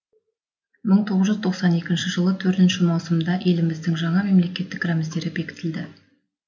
мың тоғыз жүз тоқсан екінші жылы төртінші маусымда еліміздің жаңа мемлекеттік рәміздері бекітілді